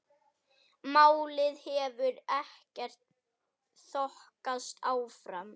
Málið hefur ekkert þokast áfram.